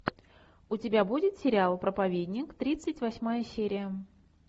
у тебя будет сериал проповедник тридцать восьмая серия